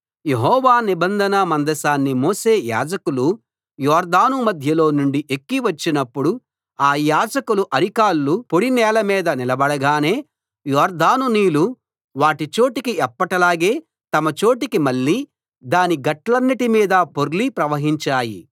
యెహోవా నిబంధన మందసాన్ని మోసే యాజకులు యొర్దాను మధ్యలో నుండి ఎక్కి వచ్చినప్పుడు ఆ యాజకుల అరికాళ్లు పొడి నేల మీద నిలబడగానే యొర్దాను నీళ్లు వాటి చోటికి ఎప్పటిలాగే తమ చోటికి మళ్ళి దాని గట్లన్నిటి మీదా పొర్లి ప్రవహించాయి